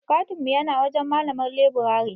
katin mu yana wajen malamar leburare.